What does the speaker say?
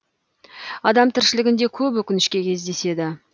адам тіршілігінде көп өкінішке кездеседі